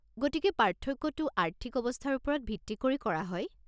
গতিকে পাৰ্থক্যটো আৰ্থিক অৱস্থাৰ ওপৰত ভিত্তি কৰি কৰা হয়?